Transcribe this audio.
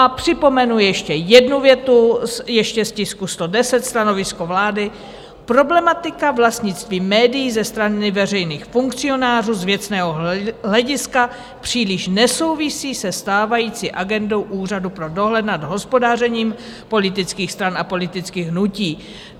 A připomenu ještě jednu větu, ještě z tisku 110, stanovisko vlády: "Problematika vlastnictví médií ze strany veřejných funkcionářů z věcného hlediska příliš nesouvisí se stávající agendou Úřadu pro dohled nad hospodařením politických stran a politických hnutí."